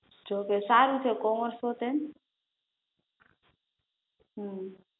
જો કે સારું છે કોમર્સ તું ટેન હમ